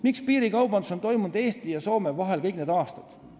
Miks on piirikaubandus olnud Eesti ja Soome vahel kõik need aastad?